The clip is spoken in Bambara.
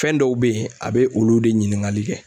Fɛn dɔw be yen a bɛ olu de ɲiniŋali kɛ.